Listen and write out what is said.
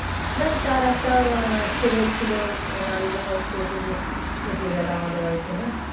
Just তার একটা ছেলে ছিল নাড়ুগোপাল সে তবু থেকে গেল আমাদের বাড়িতে না